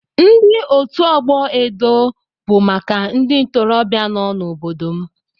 Ndi otu ọgbọ edo bụ maka ndị ntorobịa nọ n'obodo m.